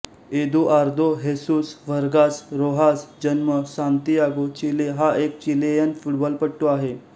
Eduardo Jesus Vargas Rojas जन्म Santiago Chile हा एक चिलेयन फुटबॉलपटू आहे